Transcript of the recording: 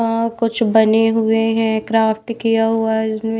कुछ बने हुए हैं क्राफ्ट किया हुआ है।